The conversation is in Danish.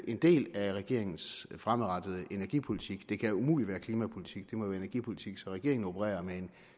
en del af regeringens fremadrettede energipolitik det kan umuligt være klimapolitik det må være energipolitik så regeringen opererer med en